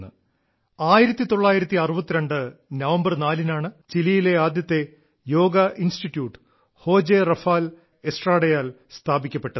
1962 November നാലിനാണ് ചിലിയിലെ ആദ്യത്തെ യോഗ ഇൻസ്റ്റിറ്റ്യൂട്ട് ഹോജെ റാഫാൽ എസ്ട്രാഡയാൽ സ്ഥാപിക്കപ്പെട്ടത്